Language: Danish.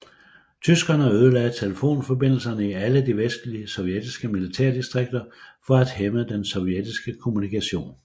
Tyskerne ødelagde telefonforbindelserne i alle de vestlige sovjetiske militærdistrikter for at hæmme den sovjetiske kommunikation